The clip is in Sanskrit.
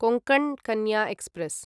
कोङ्कण् कन्या एक्स्प्रेस्